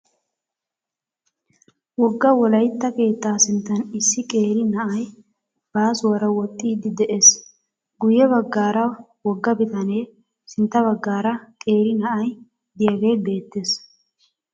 Wogga wolaytta keettaa sinttan issi qeeri na"ay baasuwara woxxiiddi de'ees. Guyye baggaara wogga bitanee sintta baggaara qeeri na"ay de"iyaagee beettees.